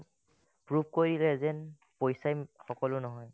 proof কৰিলে যে যেন পইচাই ওম সকলো নহয়